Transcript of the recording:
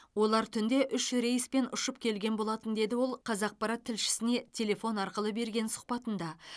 олар түнде үш рейспен ұшып келген болатын деді ол қазақпарат тілшісіне телефон арқылы берген сұхбатында